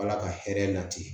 Ala ka hɛrɛ lati